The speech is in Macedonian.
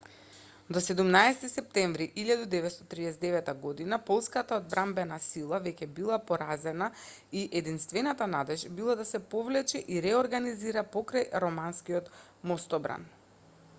до 17 септември 1939 година полската одбранбена сила веќе била поразена и единствената надеж била да се повлече и реорганизира покрај романскиот мостобран